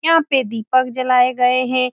यहाँ पे दीपक जलाये गये है।